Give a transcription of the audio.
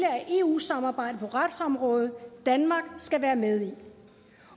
af eu samarbejdet på retsområdet danmark skal være med i